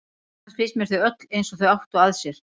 Annars finnst mér þau öll eins og þau áttu að sér.